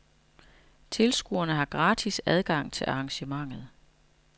Tilskuere har gratis adgang til arrangementet.